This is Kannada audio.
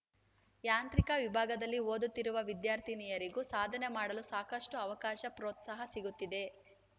ಯಾಂತ್ರಿಕ ವಿಭಾಗದಲ್ಲಿ ಓದುತ್ತಿರುವ ವಿದ್ಯಾರ್ಥಿನಿಯರಿಗೂ ಸಾಧನೆ ಮಾಡಲು ಸಾಕಷ್ಟುಅವಕಾಶ ಪ್ರೋತ್ಸಾಹ ಸಿಗುತ್ತಿದೆ